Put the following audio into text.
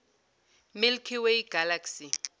milky way galaxy